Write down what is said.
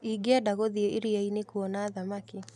Ingĩenda gũthiĩ iria-inĩ kuona thamaki.